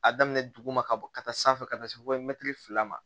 A daminɛ duguma ka bɔ ka taa sanfɛ ka taa se fila ma